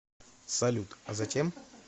салют а затем